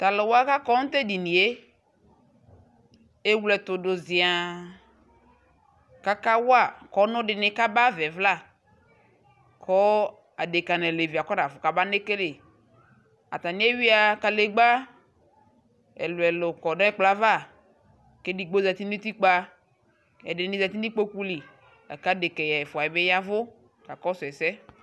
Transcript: Taluwa kakɔ nu tedinie ewle ɛtudu ƶiaa kakawa kɔnu dibi kaba ayavayɛ vla kɔɔ adeka alevi kabanekele ataniewia kalegba ɛluɛlu kɔ nɛkplɔava ɛdini ƶati nutikpa ɛdini ƶati nikpokuli la kadeka ɛfua yɛ bi yɛvu kakɔsu ɛsɛ